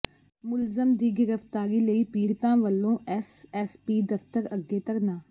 ਮੁਲਜ਼ਮ ਦੀ ਗ੍ਰਿਫ਼ਤਾਰੀ ਲਈ ਪੀੜਤਾਂ ਵੱਲੋਂ ਐਸਐਸਪੀ ਦਫ਼ਤਰ ਅੱਗੇ ਧਰਨਾ